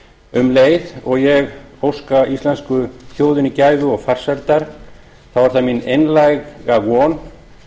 um leið og ég óska íslensku þjóðinni gæfu og farsældar þá er það mín einlæga von